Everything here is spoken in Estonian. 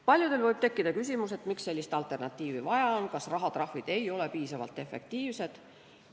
Paljudel võib tekkida küsimus, miks sellist alternatiivi vaja on, kas rahatrahvid ei ole siis piisavalt efektiivsed.